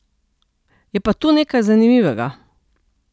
Je pa tu nekaj zanimivega.